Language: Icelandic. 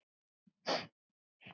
Alls staðar að held ég.